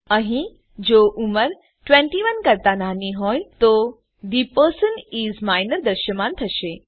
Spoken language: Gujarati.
અહીં જો ઉંમર ૨૧ કરતા નાની હોય તો થે પર્સન ઇસ માઇનર દ્રશ્યમાન થશે